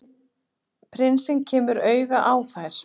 Prinsinn kemur auga á þær.